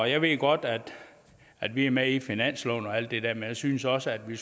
jeg ved godt at vi er med i finansloven og alt det der men jeg synes også at vi